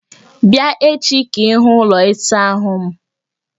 Bịa echi ka ịhụ ụlọ ịsa ahụ m